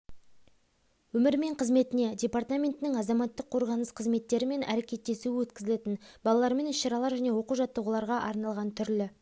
өмірі мен қызметіне департаментінің азаматтық қорғаныс қызметтерімен әрекеттесуі өткізілетін балалармен іс-шаралар және оқу-жаттығуларға арналған түрлі